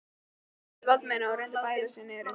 spurði Valdimar og reyndi að bæla niður undrun sína.